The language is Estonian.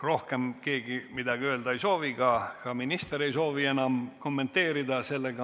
Rohkem keegi midagi öelda ei soovi, ka minister ei soovi enam kommenteerida.